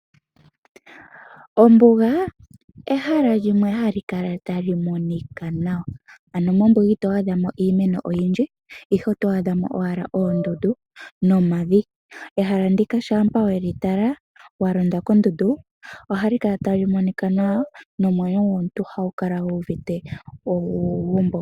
Ombuga, ehala ndjoka ha li kala ta li Monika nawa. Ano mombuga ito adhamo iimeno oyindji, oto adhamo owala oondundu, nomavi. Ehala ndika shampa we li tala, wa londa kondundu, oha li kala ta li Monika nawa nomwenyo gwomuntu oha gu kala gu uvite uugumbo.